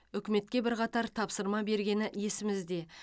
үкіметке бірқатар тапсырма бергені есімізде